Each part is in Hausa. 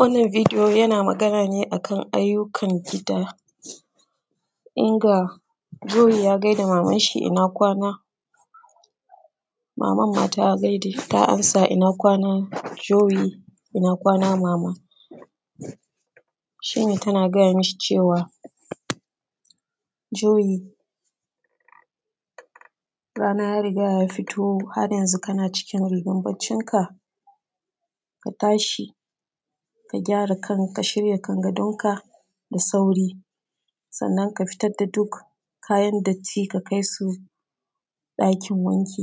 Wannan bidiyo yana Magana ne akan ayyukan gida inda Joyi ya gaida mamanshi ina kwana mamanma ta amsa ina kwana Jowi inakwana mama shi ne tana gaya mishi cewa Jerry rana yariga ya fito haryanzo kana cikin rigan baccinka ka tashi ka shirya kan gadonka da sauri sannan ka fitar da duk kayan datti ka kai su ɗakin wanki,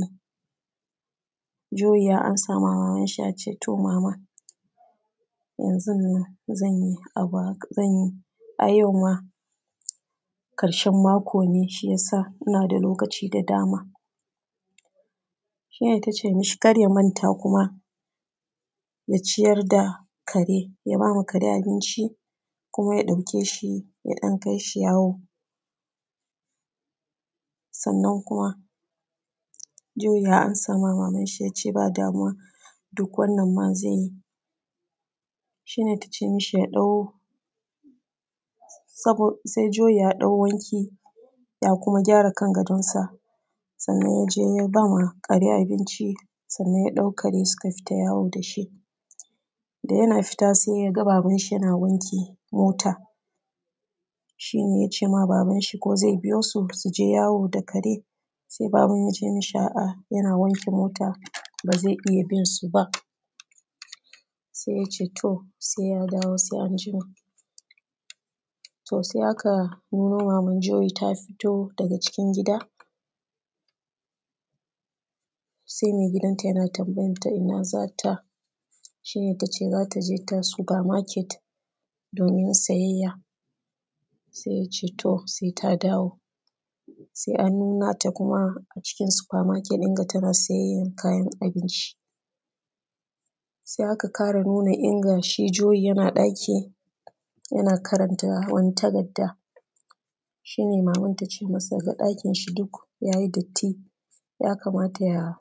Juri ya ansa mamanshi to mama yanzonnan zan yi a yauma ƙarshen makone shi ya sa inda da lokaci da dama shi ne tace mishi kar ya manta kuma ya ciyar da kare. Ya ba ma kare abinci kuma ya ɗauke shi ya ɗan kai shi yawo sannan kuma Juwi ya ansa mama manshi yace to duk wannan ma zanyi shine tace mishi juli ya haɗu wanki ya kuma gyara kan gadonsa sannan yaje yabama kare abinci sannan yaɗaukaren suka fita yawo dashi dayana fita sai yaga babanshi yana wankin mota shine yacema babanshi ko ze biyosu suje yawo da kare sai babanyace mishi aa yana wanke mota bazai iya binsuba sai yaceto si ya dawo gto sai aka nimu maman juli ta fito daga cikin gida sai mai gidanta yana tanbayanta inda za ta shi ne ta ce za ta je super market domin siyayya, sai ya ce to saita dawo sai aka nnunuta acikin super market tana siyayyan kayan abinci sai akaƙara nuna gashi juli yana ɗaki yana ƙaranta wani takarda shi ne maman tiɗakinshi duk ya yi datti ya kamata ya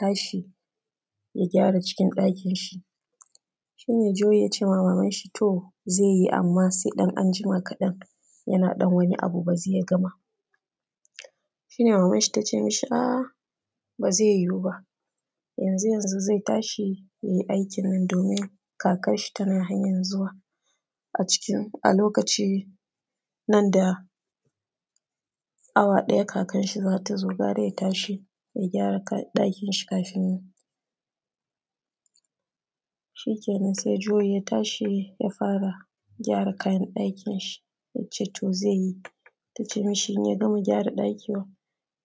tashi ya gyara cikin ɗakinshi shine juliyace wa mamanshi toh zaiyi anma sai ɗan anjima kaɗan yana ɗan wani abu bara ya gama sh ine mamanshi ta ce mishi, a’a ba zai yiyuwo ba yanzu yano zaitashi yayy aikinnan domin kakanshi tana hanyan zuwa a lokaci nan da awa ɗaya kafin zatazo gunda yatashi ya gyara kayan ɗakinshi. Kafin t azo shikenan sai juli ta tashi ya fara gyara kayan ɗakinshi yace to zaiyi tace inyagama gyara ɗakin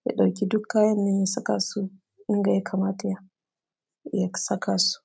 ya ɗauki duk kayan nan ya saka su inda ya kamata ya sa ka su.